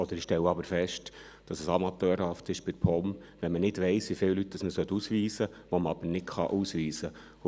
Ich stelle aber fest, dass es seitens der POM amateurhaft ist, wenn man nicht weiss, wie viele Leute man ausweisen soll, die man aber nicht ausweisen kann.